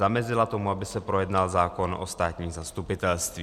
Zamezila tomu, aby se projednal zákon o státním zastupitelství.